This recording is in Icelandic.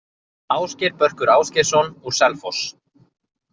Ásgeir Börkur Ásgeirsson, úr Selfoss